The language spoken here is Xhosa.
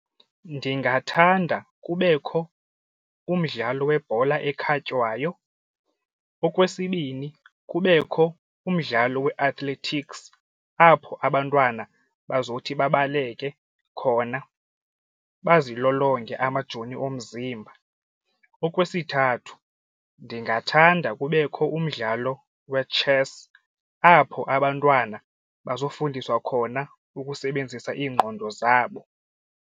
Ndingathanda kubekho umdlalo webhola ekhatywayo. Okwesibini, kubekho umdlalo we-athletics apho abantwana bazothi babaleke khona bazilolonge amajoni omzimba. Okwesithathu, ndingathanda kubekho umdlalo we-chess apho abantwana bazofundiswa khona ukusebenzisa iingqondo zabo.